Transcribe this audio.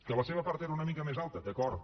que la seva part era una mica més alta d’acord